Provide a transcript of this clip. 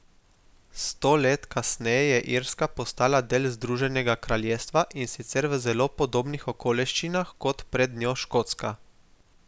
Sto let kasneje je Irska postala del Združenega kraljestva in sicer v zelo podobnih okoliščinah kot pred njo Škotska.